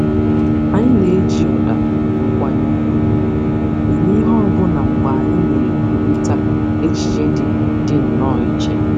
Anyị na-eji ụda nkwanye ùgwù eme ihe ọbụna mgbe anyị na-ekwurịta echiche dị dị nnọọ iche